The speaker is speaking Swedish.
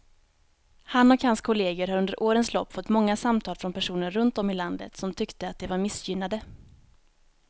Han och hans kolleger har under årens lopp fått många samtal från personer runt om i landet som tyckte att de var missgynnade.